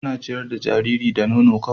Ta ciyar da jariri da nono kawai